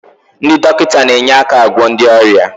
Ndị dọkịta na-enye aka agwọ ndị ọrịa